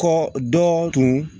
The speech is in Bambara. Kɔ dɔɔnin